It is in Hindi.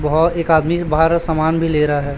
वह एक आदमी बाहर समान भी लेरा है।